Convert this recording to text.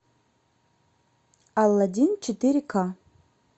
алладин четыре ка